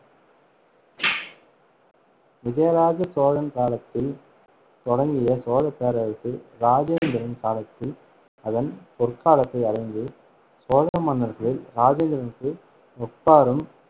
விஜயாலய சோழன் காலத்தில் தொடங்கிய சோழப் பேரரசு இராஜேந்திரன் காலத்தில் அதன் பொற்காலத்தை அடைந்தது. சோழ மன்னர்களில் இராஜேந்திரனுக்கு ஒப்பாரும்